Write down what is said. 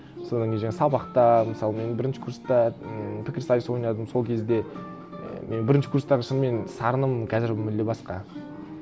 содан кейін жаңағы сабақта мысалы мен бірінші курста ммм пікірсайыс ойнадым сол кезде і мен бірінші курстағы шынымен сарыным қазір мүлде басқа